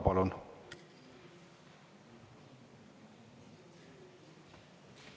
Palun!